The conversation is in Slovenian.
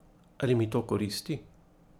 Ali mi to koristi?